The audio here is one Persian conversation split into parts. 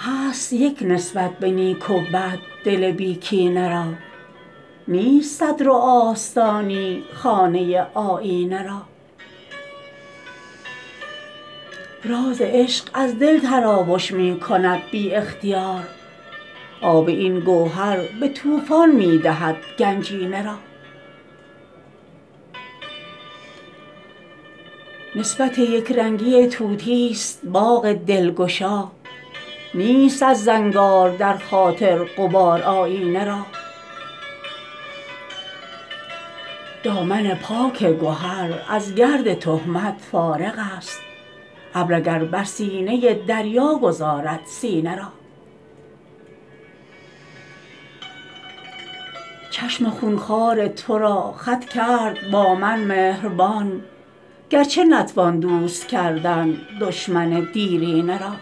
هست یک نسبت به نیک و بد دل بی کینه را نیست صدر و آستانی خانه آیینه را راز عشق از دل تراوش می کند بی اختیار آب این گوهر به طوفان می دهد گنجینه را نسبت یکرنگی طوطی است باغ دلگشا نیست از زنگار در خاطر غبار آیینه را دامن پاک گهر از گرد تهمت فارغ است ابر اگر بر سینه دریا گذارد سینه را چشم خونخوار ترا خط کرد با من مهربان گرچه نتوان دوست کردن دشمن دیرینه را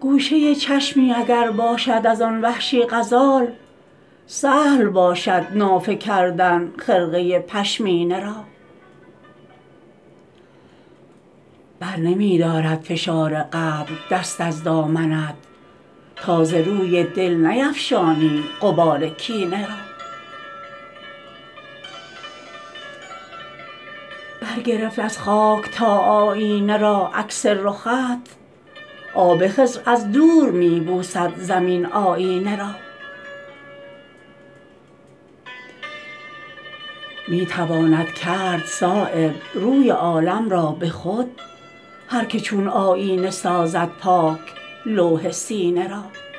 گوشه چشمی اگر باشد ازان وحشی غزال سهل باشد نافه کردن خرقه پشمینه را برنمی دارد فشار قبر دست از دامنت تا ز روی دل نیفشانی غبار کینه را بر گرفت از خاک تا آیینه را عکس رخت آب خضر از دور می بوسد زمین آیینه را می تواند کرد صایب روی عالم را به خود هر که چون آیینه سازد پاک لوح سینه را